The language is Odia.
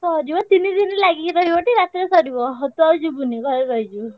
ସରିବ ତିନି ଦିନି ଲାଗିକି ରହିବ ଟି ରାତିରେ ସରିବ। ସେ ତୁ ଆଉ ଯିବୁନି ଘରେ ରହିଯିବୁ।